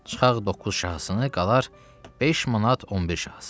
Çıxaq 9 şahısını qalar 5 manat 11 şahısı.